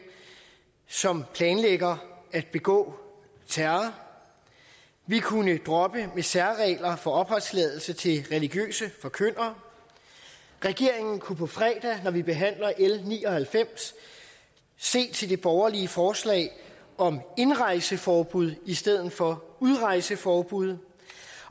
som planlægger at begå terror vi kunne droppe særregler for opholdstilladelse til religiøse forkyndere regeringen kunne på fredag når vi behandler l ni og halvfems se til det borgerlige forslag om indrejseforbud i stedet for udrejseforbud